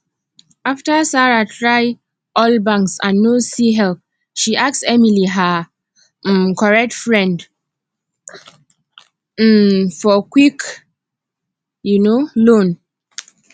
after sarah try all banks and no see help she ask emily her um correct friend um for quick um loan